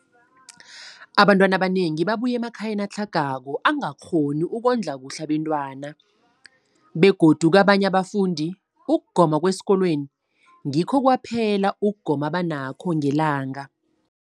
Abantwana abanengi babuya emakhaya atlhagako angakghoni ukondla kuhle abentwana, begodu kabanye abafundi, ukugoma kwesikolweni ngikho kwaphela ukugoma abanakho ngelanga.